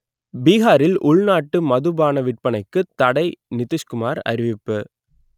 பீகாரில் உள்நாட்டு மதுபான விற்பனைக்கு தடை நிதிஷ்குமார் அறிவிப்பு